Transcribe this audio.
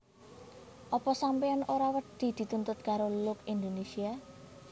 Opo sampeyan ora wedi dituntut karo Look Indonesia